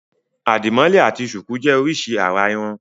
Àdìmọ́lẹ̀ àti ṣùkú jẹ́ oríṣi àrà-irun.